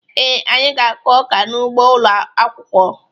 Ee, anyị ga-akụ ọka n'ugbo ụlọ akwụkwọ